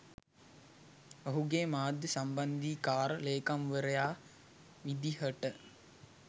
ඔහුගේ මාධ්‍ය සම්බන්ධීකාර ලේකම්වරයා විදිහට